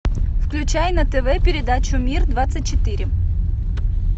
включай на тв передачу мир двадцать четыре